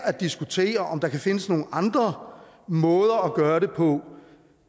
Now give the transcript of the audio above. at diskutere om der kan findes nogle andre måder at gøre det på